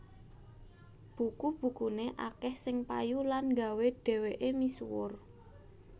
Buku bukuné akèh sing payu lan nggawé dhèwèké misuwur